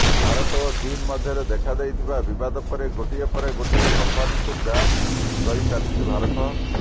ଭାରତ ଓ ଚୀନ୍ ମଧ୍ୟରେ ଦେଖାଦେଇଥିବା ବିବାଦ ପରେ ଗୋଟିଏ ପରେ ଗୋଟିଏ କମ୍ପାନୀକୁ ବ୍ୟାନ୍ କରିଚାଲିଛି ଭାରତ